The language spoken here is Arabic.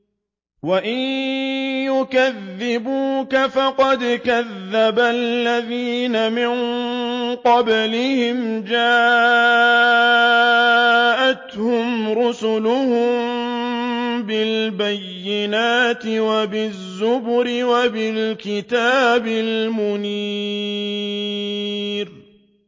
وَإِن يُكَذِّبُوكَ فَقَدْ كَذَّبَ الَّذِينَ مِن قَبْلِهِمْ جَاءَتْهُمْ رُسُلُهُم بِالْبَيِّنَاتِ وَبِالزُّبُرِ وَبِالْكِتَابِ الْمُنِيرِ